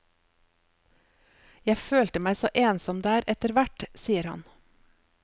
Jeg følte meg så ensom der etter hvert, sier han.